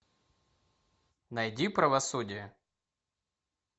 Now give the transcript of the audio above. найди правосудие